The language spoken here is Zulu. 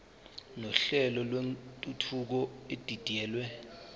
nohlelo lwentuthuko edidiyelwe